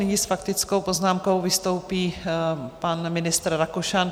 Nyní s faktickou poznámkou vystoupí pan ministr Rakušan.